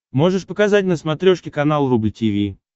можешь показать на смотрешке канал рубль ти ви